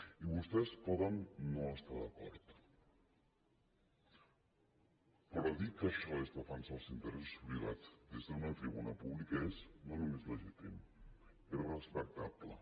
i vostès poden no estar hi d’acord però dir que això és defensar els interessos privats des d’una tribuna pública és no només legítim és respectable